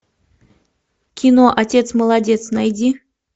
кино отец молодец найди